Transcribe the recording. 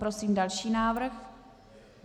Prosím další návrh.